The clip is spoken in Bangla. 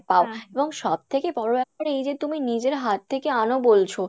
পাও এবং সব থেকে বড় ব্যাপার এই যে তুমি নিজের হাত থেকে আনো বলছো